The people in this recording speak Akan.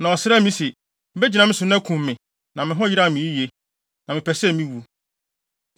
“Na ɔsrɛɛ me se, ‘Begyina me so na kum me, na me ho yeraw me yiye, na mepɛ sɛ me wu.’